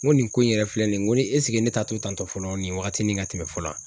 N ko nin ko in yɛrɛ filɛ nin ye n ko ne ta to tantɔ fɔlɔ nin wagatinin ka tɛmɛ fɔlɔ